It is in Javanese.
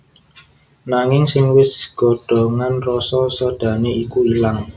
Nanging sing wis godhogan rasa sodhané iku ilang